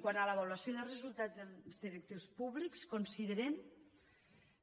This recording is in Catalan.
quant a l’avaluació de resultats dels directius públics considerem